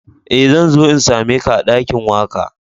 Eh, zan zo n'same ka a dakin waka.